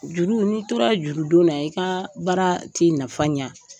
Juru , n'i tora jurudon na, i ka baara tɛ nafa ɲan.